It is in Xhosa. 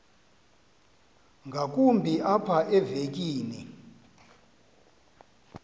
ngakumbi apha evekini